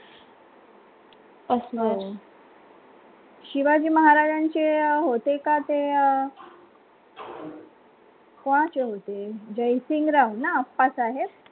शिवाजी महाराजांचे अं होते का ते अं कोणाचे होते, जयसिंगरावना अप्पासाहेब